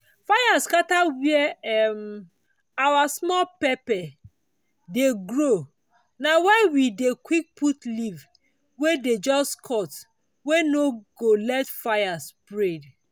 fire scatter where um our small pepper dey grow na why we dey quick put leaf wey dey just cut wey no go let fire spread.